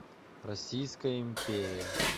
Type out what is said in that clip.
российская империя